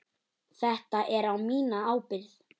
Þetta er á mína ábyrgð.